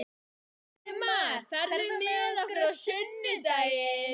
Friðmar, ferð þú með okkur á sunnudaginn?